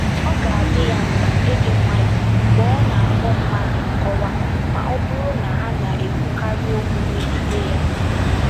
Ọ ga-adị ya mkpa ịdị nwayọ mgbe ọ na-akpọ mmadụ nkọwa ma ọ bụrụ na ha na-ekwukarị okwu megide ya.”